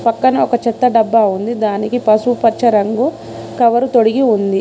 పక్కనే ఒక చెత్త డబ్బా ఉంది దానికి పసుపు పచ్చ రంగు కవరు తొడిగి ఉంది.